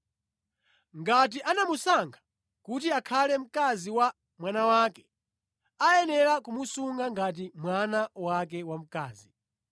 Ngati anamusankha kuti akhale mkazi wa mwana wake, ayenera kumusunga ngati mwana wake wamkazi.